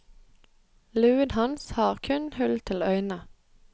Luen hans har kun hull til øynene.